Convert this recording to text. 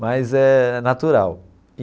Mas é natural.